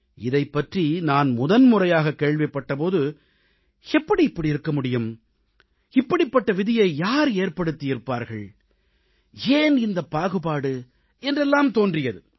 இதைப்பற்றி நான் முதன்முறையாகக் கேள்விப்பட்ட போது எப்படி இப்படி இருக்க முடியும் இப்படிப்பட்ட விதியை யார் ஏற்படுத்தி இருப்பார்கள் ஏன் இந்தப் பாகுபாடு என்றெல்லாம் தோன்றியது